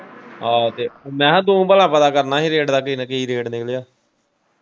ਆਹੋ ਤੇ ਮੈਂ ਕਿਹਾ ਤੁਸੀਂ ਭਲਾ ਪਤਾ ਕਰਨਾ ਹੀ ਰੇਟਾ ਦਾ ਕੀ ਰੇਟ ਨਿਕਲਿਆ?